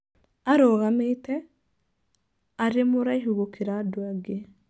Aarũgamĩte, aarĩ mũraihu gũkĩra andũ aingĩ.